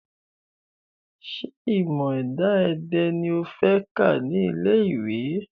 Ṣé ìmọ̀ ẹ̀dá-èdè ni o fẹ́ kà ní ilé ìwé?